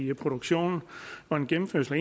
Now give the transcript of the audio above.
i produktionen og en gennemførelse af